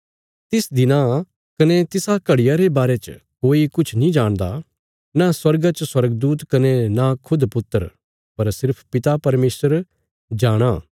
तिस दिना कने तिसा घड़िया रे बारे च कोई किछ नीं जाणदा न स्वर्गा च स्वर्गदूत कने न खुद पुत्र पर सिर्फ पिता परमेशर जाणाँ